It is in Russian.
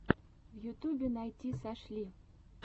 в ютубе найти сашли